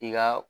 I ka